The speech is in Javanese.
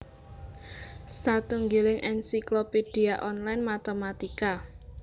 Satunggiling ensiklopédia online matématika